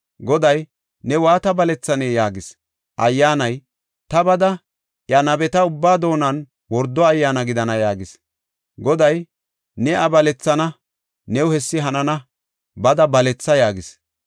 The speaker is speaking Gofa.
Goday, “Ne waata balethanee?” yaagis. Ayyaanay, “Ta bada, iya nabeta ubbaa doonan wordo ayyaana gidana” yaagis. Goday, “Ne iya balethana; new hessi hanana. Bada baletha” yaagis.